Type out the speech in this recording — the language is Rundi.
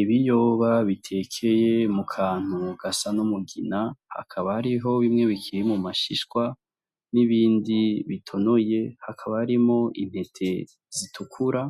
Ibiyoba biteke mu kantu gasa n' umugina, hakaba hariho bimwe bikiri mu mashishwa n' ibindi bitonoye hakaba harimwo intete zitukura